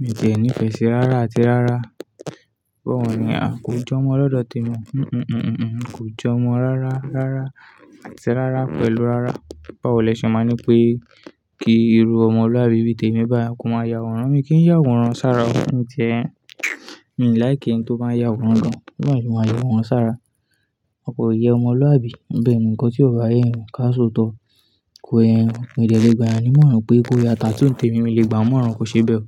mi tí e nífẹ̀ẹ́ sí rárá àti rárá. Báwo ni, a kò jọmọ lọ́dọ̀ temi. Hìhù, hìhù, hìhù, kò jọmọ rárá rárá àti rárá pẹ̀lú rárá. Báwo lẹ ṣe máa ń ní pé kí irú ọmọlúàbí bí i tèmi bá, kò máa ya àwòrán. Mi kí ń ya àwòrán sára o, mí ti ẹ n. Mi ò láì kí ẹni tó máa ya àwòrán naá, bawọ́ lo ṣe máa ya àwòrán sára. Kò yẹ ọmọlúàbí. Bẹ̀ẹ̀ni nǹkan tí ọ ba yẹn yan ká soọ̀tọ̀. Kò yẹ yan. Mi dẹ̀ le gba yan nimọ̀ràn pé kó yá tatoo ǹtẹ̀mi mi lè gba mọ́ọ̀ràn kò ṣe bẹ́ẹ̀ o.